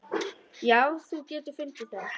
Já, þú getur fundið það.